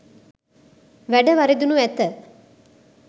වැඩ වරදිනු ඇත.